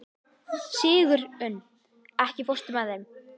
Sigurunn, ekki fórstu með þeim?